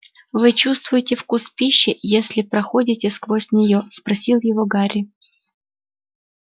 вы чувствуете вкус пищи если проходите сквозь нее спросил его гарри